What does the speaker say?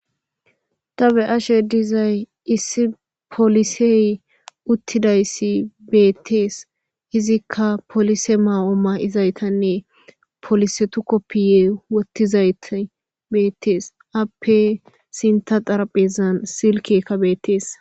Tabe'ashe dizay issi polisey uttidayssi beettees izikka polise maa7ooma7izaytanne polisetu koppiye wottizayta beettees appe sinta daraphezan silkekka beettees